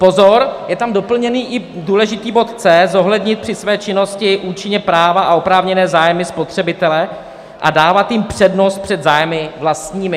Pozor, je tam doplněn i důležitý bod c), zohlednit při své činnosti účinně práva a oprávněné zájmy spotřebitele a dávat jim přednost před zájmy vlastními.